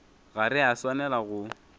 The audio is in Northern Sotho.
ga re a swanela go